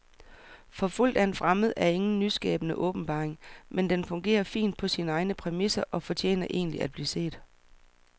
Forfulgt af en fremmed er ingen nyskabende åbenbaring, men den fungerer fint på sine egne præmisser og fortjener egentlig at blive set.